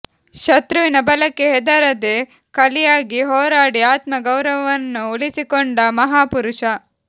ಶತ್ರುವಿನ ಬಲಕ್ಕೆ ಹೆದರದೆ ಕಲಿಯಾಗಿ ಹೋರಾಡಿ ಆತ್ಮ ಗೌರವವನ್ನು ಉಳಿಸಿಕೊಂಡ ಮಹಾಪುರುಷ